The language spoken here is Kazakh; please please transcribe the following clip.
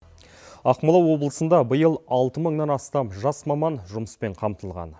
ақмола облысында биыл алты мыңнан астам жас маман жұмыспен қамтылған